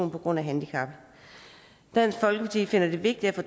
på grund af handicap dansk folkeparti finder det vigtigt at